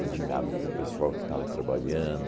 Cozinhava para o pessoal que estava trabalhando.